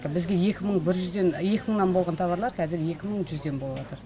бізге екі мың бір жүзден екі мыңнан болған тауарлар кәзір екі мың жүзден болыватыр